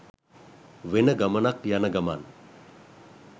වෙන ගමනක් යන ගමන්.